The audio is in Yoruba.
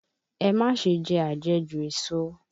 Ẹ má ṣe jẹ àjẹjù èso!